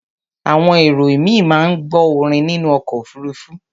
Àwọn èrò ìmíì máa ń gbọ́ orin nínú ọkọ̀ òfuruufú.